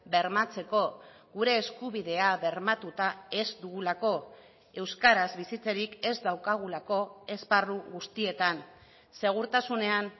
bermatzeko gure eskubidea bermatuta ez dugulako euskaraz bizitzerik ez daukagulako esparru guztietan segurtasunean